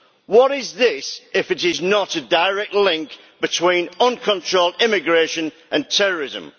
What is this if it is not a direct link between uncontrolled immigration and terrorism?